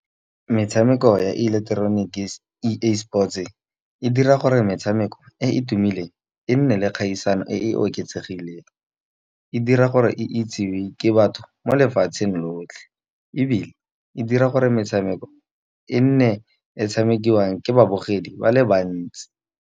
Metshameko ya e ileketroniki A_E sport, e e dira gore metshameko e e tumileng e nne le kgaisano e e oketsegileng. E dira gore e itsewe ke batho mo lefatsheng lotlhe, ebile e dira gore metshameko e nne e tshamekiwang ke babogedi ba le bantsi.